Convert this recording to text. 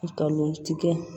Ka lɔgɔ tigɛ